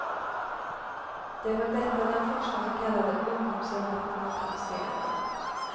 Det var detta den första så kallade ungdomsgenerationen protesterade emot.